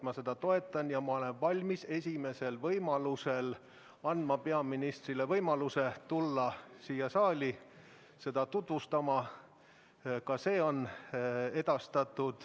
Ma toetan seda ja olen valmis esimesel võimalusel andma peaministrile võimaluse tulla siia saali olukorda tutvustama – ka see on edastatud.